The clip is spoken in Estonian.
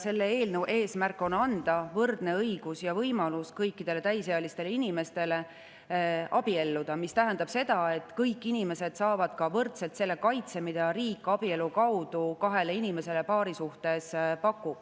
Selle eelnõu eesmärk on anda kõikidele täisealistele inimestele võrdne õigus ja võimalus abielluda, mis tähendab seda, et kõik inimesed saavad ka võrdselt selle kaitse, mida riik abielu kaudu kahele inimesele paarisuhtes pakub.